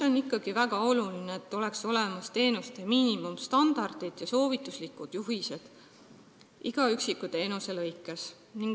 On väga oluline, et oleksid olemas teenuste miinimumstandardid ja soovituslikud juhised iga üksiku teenuse jaoks.